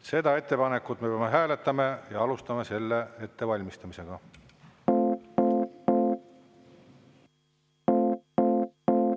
Seda ettepanekut me peame hääletama ja alustame selle ettevalmistamist.